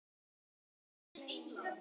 Guði er ekkert um megn.